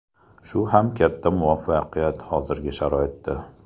Shu ham katta muvaffaqiyat hozirgi sharoitda.